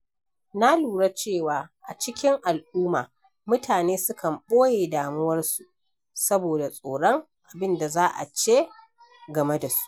Na lura cewa a cikin al’umma, mutane sukan ɓoye damuwarsu saboda tsoron abin da za a ce game da su.